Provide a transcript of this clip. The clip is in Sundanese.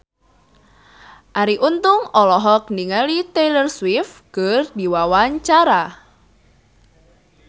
Arie Untung olohok ningali Taylor Swift keur diwawancara